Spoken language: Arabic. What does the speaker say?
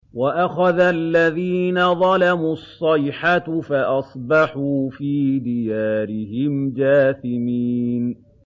وَأَخَذَ الَّذِينَ ظَلَمُوا الصَّيْحَةُ فَأَصْبَحُوا فِي دِيَارِهِمْ جَاثِمِينَ